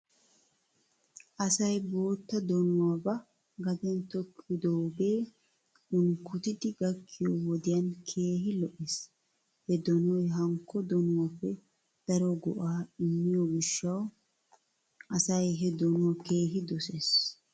Asay bootta donuwaa ba gaden tokkidoogee unkkotidi gakkiyoo wodiyan heehi lo'es. He donoy hankko donuwaappe daro goo'aa immiyoo gishshaw asay he donuwaa keehi doses.